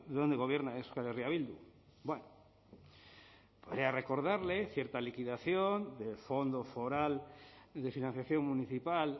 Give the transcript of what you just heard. de donde gobierna euskal herria bildu bueno voy a recordarle cierta liquidación del fondo foral de financiación municipal